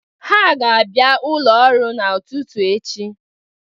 Ha ga-abịa ụlo ọrụ n'ụtụtụ echi.